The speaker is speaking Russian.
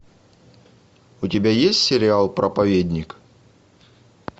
у тебя есть сериал проповедник